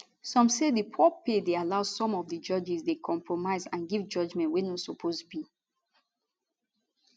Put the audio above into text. some say di poor pay dey allow some of di judges dey compromise and give judgement wey no suppose be